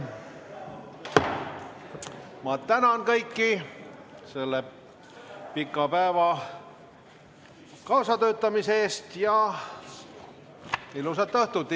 Ma tänan kõiki selle pika päeva kaasatöötamise eest ja ilusat õhtut!